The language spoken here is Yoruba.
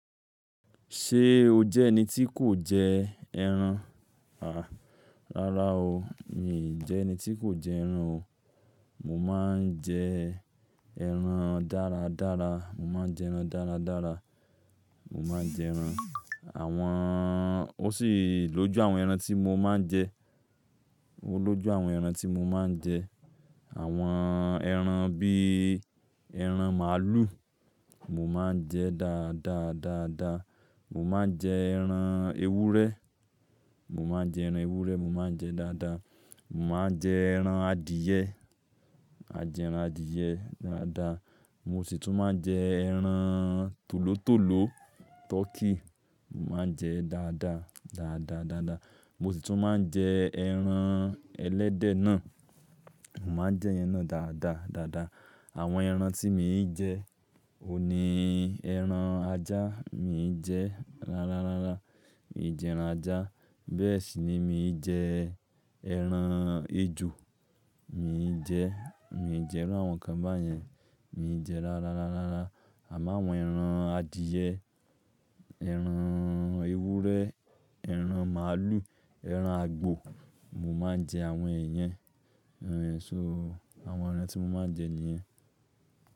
Ṣé o jẹ́ ẹni tí kò jẹ ẹran? À, rárá o, mi jẹ ẹni tí kò jẹ ẹran o. Mo máa ń jẹ ẹran dára dára, mo máa ń jẹ ẹran dára dára, mo máa ń jẹ ẹran. Àwọn, o sì lójú àwọn ẹran tí mo máa ń jẹ. O lójú àwọn ẹran tí mo máa ń jẹ. Àwọn ẹran bí ẹran màálù, mo máa ń jẹ dáadáa dáadáa. Mo máa ń jẹ ẹran ewúrẹ́, mo máa ń jẹ ẹran ewúrẹ́, mo máa ń jẹ dáadáa. Mo máa ń jẹ ẹran adìẹ, a jẹ ẹran adìẹ dáadáa. Mo sì tún máa ń jẹ ẹran tòlótòló tọkí, mo máa ń jẹ dáadáa dáadáa dáadáa. Mo sì tún máa ń jẹ ẹran ẹlẹ́dẹ̀ náà, mo máa ń jẹ ẹran náà dáadáa dáadáa. Àwọn ẹran tí mi ò ń jẹ, òní ẹran ajá mi i jẹ ra ra ra ra, mii jẹ ẹran ajá. Bẹ́ẹ̀ sì ni mi i jẹ ẹran ejò, mi i jẹ, mi i jẹ irú àwọn kan báyẹn, mi i jẹ ra ra ra ra ra. Àmáwọn ẹran adìẹ, ẹran ewúrẹ́, ẹran màálù, ẹran àgbò, mo máa ń jẹ àwọn èèyẹn. Ònie, so àwọn ẹran tí mo máa ń jẹ nìyen.